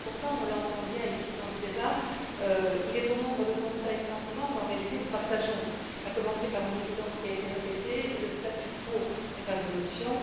Pourtant, on l'entend bien dans ce débat, il est bon nombre de constats et de sentiments qu'en réalité nous partageons, à commencer par une évidence qui a été répétée le statu quo n'est pas une option.